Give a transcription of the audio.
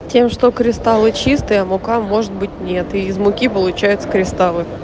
тем что кристаллы чистые а мука может быть нет и из муки получаются кристаллы